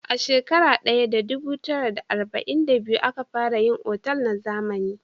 A shekara daya da dubu tara da arba'in da biyu a ka fara yin otal na zamani